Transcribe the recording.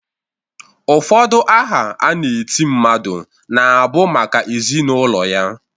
Ụfọdụ aha a na-eti mmadụ na-abụ maka ezi na ụlọ ya.